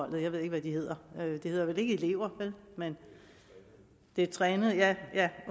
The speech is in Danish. jeg ved ikke hvad de hedder det hedder vel ikke elever vel de trænede ja